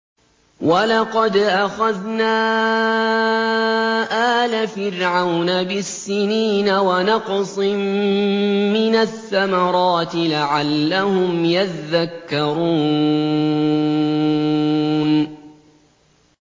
وَلَقَدْ أَخَذْنَا آلَ فِرْعَوْنَ بِالسِّنِينَ وَنَقْصٍ مِّنَ الثَّمَرَاتِ لَعَلَّهُمْ يَذَّكَّرُونَ